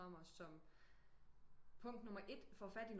Programmer som punkt nummer 1 få fat i nogen